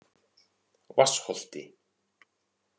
Vatnsholti